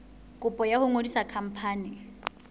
kopo ya ho ngodisa khampani